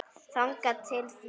Þangað til því lýkur.